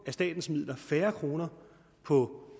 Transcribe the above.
af statens midler færre kroner på